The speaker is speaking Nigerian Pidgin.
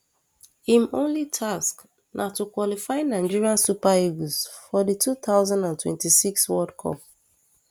um im only task na to qualify nigeria super eagles for di two thousand and twenty-six world cup